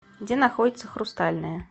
где находится хрустальная